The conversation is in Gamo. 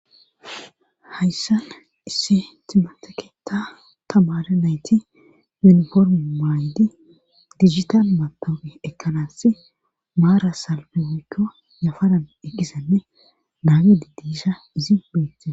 Hayssan isse timateketa tamare nayti yuniforme maaydi digital matabe ekkanaas maara salpe woykko yafanan eqqisanne naage diddisha izi beettie.